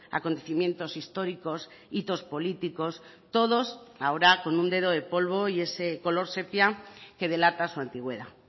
acontecimientos históricos hitos políticos todos ahora con un dedo de polvo y ese color sepia que delata su antigüedad